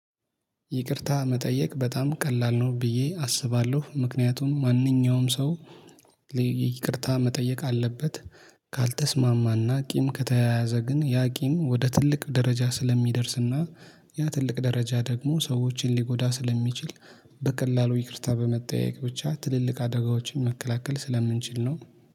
ይቅርታ መጠየቅ በጣም ቀላል ነው ብዬ አስባለሁ ምክንያቱም ማንኛውም ሰው ይቅርታ መጠየቅ አለበት። ካልተስማማና ቂም ከተያያዘ ግን ያ ቂም ወደ ትልቅ ደረጃ ስለሚደርስና ያ ትልቅ ደረጃ ደግሞ ሰዎችን ሊጎዳ ስለሚችል በቀላሉ ይቅርታ በመጠያየቅ ብቻ ትልልቅ አደጋዎችን መከላከል ስለምንችል ነው